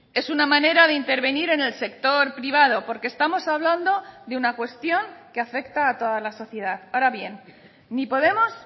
es una manera de intervenir en el sector privado porque estamos hablando de una cuestión que afecta a toda la sociedad ahora bien ni podemos